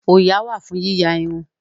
Òyà wà fún yíya irun